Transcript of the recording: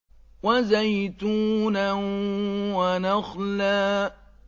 وَزَيْتُونًا وَنَخْلًا